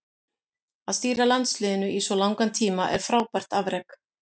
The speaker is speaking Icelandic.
Að stýra landsliðinu í svo langan tíma er frábært afrek.